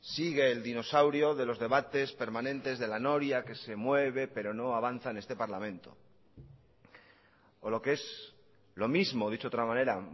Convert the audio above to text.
sigue el dinosaurio de los debates permanentes de la noria que se mueve pero no avanza en este parlamento o lo que es lo mismo dicho de otra manera